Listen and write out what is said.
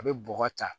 A bɛ bɔgɔ ta